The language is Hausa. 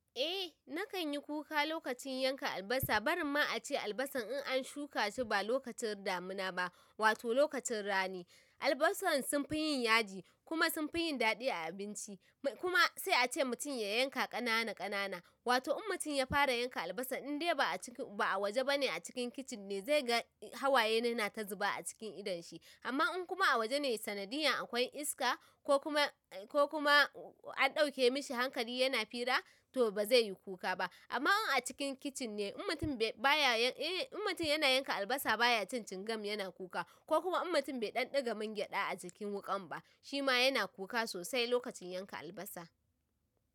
Eh na kan yi kuka, lokacin yanka albasa, bari ma ace albasan in an shuka shi ba lokacin damuna ba, wato lokacin rani. Albasan sun fi yin yaji kuma sun fi yin daɗi a abinci, kuma sai a ce mutum ya yanka ƙanana ƙanana. Wato in mutum ya fara yanka albasa in dai ba a waje bane a cikin kicin ne, zai ga hawaye yana ta zuba a cikin idon shi. Amma in kuma a waje ne sanadiyan akwai iska ko kuma ko kuma an ɗauke mishi hankali yana fira, to ba zai yi kuka ba. Amma in a cikin kicin ne, in mutum yana yanka albasa baya cin cingam yana kuka ko kuma in mutum bai ɗan ɗiga man gyada a jikin wuƙan ba, shi ma yana kuka sosai lokacin yanka albasa.